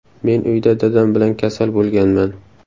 Men uyda dadam bilan kasal bo‘lganman.